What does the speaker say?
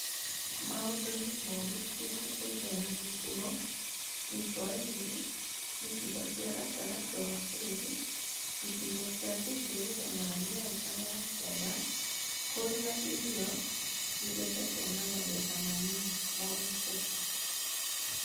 Maũndũ nĩ moru irathĩro ya mũhuro, gĩcua-inĩ, icigo cia gatagatĩ wa bũrũri, icigo cia ithũĩro na Nyanza ya Kianda kũrĩa irio igethetwo na magetha manini nĩmonekete